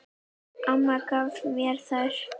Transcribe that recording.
Amma gaf mér þær.